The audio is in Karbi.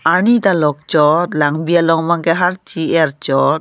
arni ta lok chot langbi along bang ke aharchi er chot.